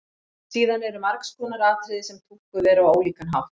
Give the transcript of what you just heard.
Síðan eru margs konar atriði sem túlkuð eru á ólíkan hátt.